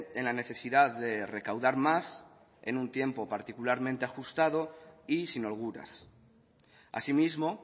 en la necesidad de recaudar más en un tiempo particularmente ajustado y sin holguras así mismo